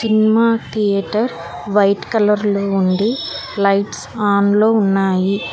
Cinema theatre white colour లో ఉంది lights on లో ఉన్నాయి.